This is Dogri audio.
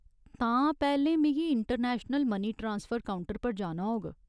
तां, पैह्‌लें मिगी इंटरनैशनल मनी ट्रांसफर काउंटर पर जाना होग ?